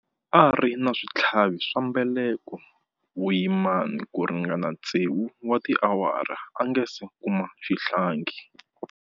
A ri na switlhavi swa mbeleko vuyimani ku ringana tsevu wa tiawara a nga si kuma xihlangi.